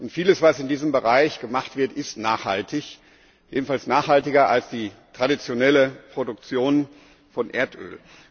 Vieles, was in diesem Bereich gemacht wird, ist nachhaltig jedenfalls nachhaltiger als die traditionelle Produktion von Erdöl.